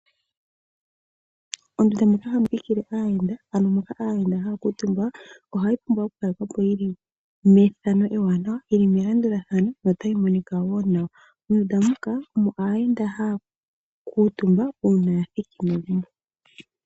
Ondunda moka hamu thikile aayenda ano moka aayenda haya kuutumba, ohayi pumbwa okukalekwa po yili methano ewanawa. Yi li melandulathano yo otayi monika wo nawa. Mondunda muka omo aayenda haya kuutumba uuna ya thiki megumbo.